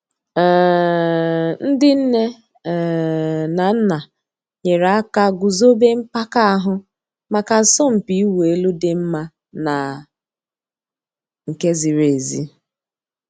um Ǹdí nnè um nà nnà nyèrè àkà gùzòbè mpàka àhụ̀ mǎká àsọ̀mpị̀ ị̀wụ̀ èlù dì́ mma nà nke zìrì èzí.